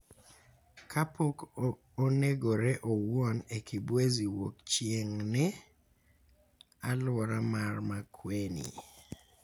kapok onegore owuon e Kibwezi Wuokchieng�, e alwora mar Makueni.